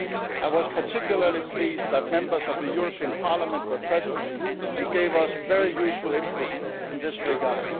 meeting in Horsens in Denmark. I was particularly pleased that Members of the European Parliament were present and gave us very